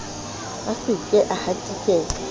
a se ke a hatikela